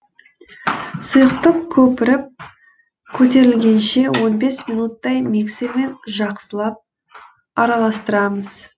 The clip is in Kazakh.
сұйықтық көпіріп көтерілгенше он бес минуттай миксермен жақсылап араластырамыз